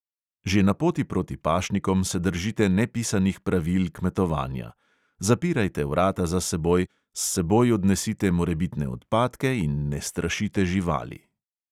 Že na poti proti pašnikom se držite nepisanih pravil kmetovanja: zapirajte vrata za seboj, s seboj odnesite morebitne odpadke in ne strašite živali.